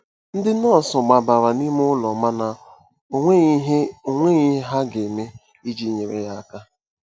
Ndị nọọsụ gbabara n'ime ụlọ mana ọ nweghị ihe ọ nweghị ihe ha ga-eme iji nyere ya aka.